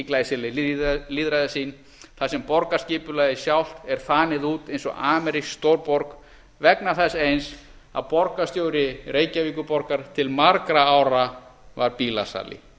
glæsileg lýðræðissýn þar sem borgarskipulagið sjálft er þanið út eins og amerísk stórborg vegna þess eins að borgarstjóri reykjavíkurborgar til margra ára var bílasali